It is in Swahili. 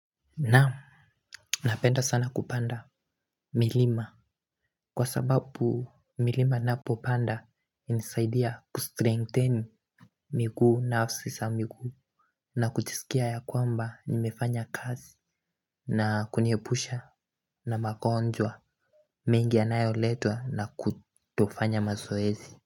Naam. Napenda sana kupanda milima. Kwa sababu milima napo panda. Nisaidia kustrengtheni miguu na sisa miguu. Na kujiisikia ya kwamba nimefanya kazi. Na kuniepusha na magonjwa mengi anayo letwa na kutofanya mazoezi.